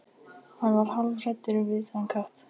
Hann varð hálfhræddur við þennan kött.